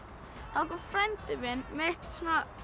þá kom frændi minn með eitt